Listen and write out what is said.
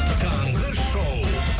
таңғы шоу